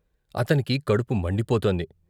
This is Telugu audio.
అతనికి కడుపు మండిపోతోంది.